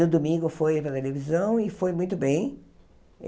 No domingo foi para a televisão e foi muito bem.